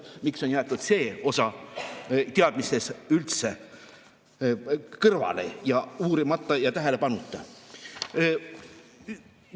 Miks on jäetud see osa teadmistest üldse kõrvale, uurimata ja tähelepanuta?